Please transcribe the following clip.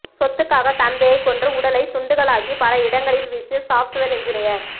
சொத்துக்காக தந்தையை கொன்று உடலை துண்டுகளாக்கி பல இடங்களில் வீசிய சாப்ட்வேர் என்ஜினியர்